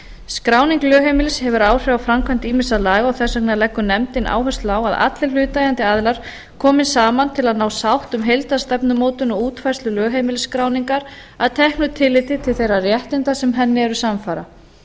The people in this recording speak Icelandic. skráning lögheimilis hefur áhrif á framkvæmd ýmissa laga og þess vegna leggur nefndin áherslu á að allir hlutaðeigandi aðilar komi saman til að ná sátt um heildarstefnumótun og útfærslu lögheimilisskráningar að teknu tilliti til þeirra réttinda sem henni eru samfara